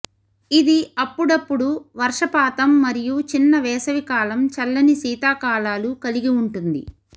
ఇది అప్పుడప్పుడు వర్షపాతం మరియు చిన్న వేసవి కాలం చల్లని శీతాకాలాలు కలిగి ఉంటుంది